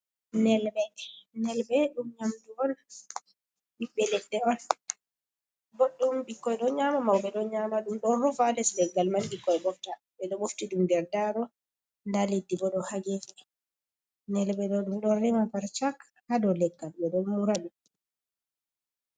Nelɓe ɓiɓbe leɗɗe on ɓo ɗum bikkoi ɗo nyama maube ɗo nyama ɗum, don ufa lesder gal mal bikkoy bofta ɓe ɗo mofti ɗum nder daro nda leddi bo ɗo hagefa nelbe ɗo ɗum ɗo rema parchak hado leggal ɓe ɗo muradi.